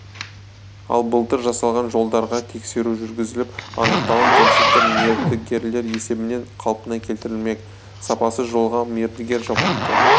ал былтыр жасалған жолдарға тексеру жүргізіліп анықталған кемшіліктер мердігерлер есебінен қалпына келтірілмек сапасыз жолға мердігер жауапты